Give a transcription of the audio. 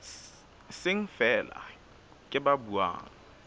seng feela ke ba buang